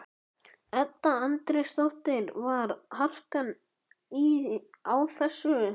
Edda Andrésdóttir: Var harkan á þessu?